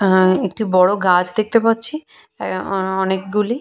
আহঃ একটি বড় গাছ দেখতে পাচ্ছি এ অ অনেকগুলি ।